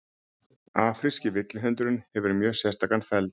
afríski villihundurinn hefur mjög sérstakan feld